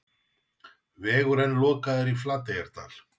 Vegur enn lokaður í Flateyjardal